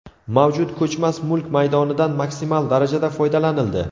Mavjud ko‘chmas mulk maydonidan maksimal darajada foydalanildi.